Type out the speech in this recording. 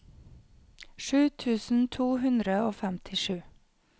sju tusen to hundre og femtisju